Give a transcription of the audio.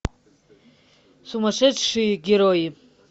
сумасшедшие герои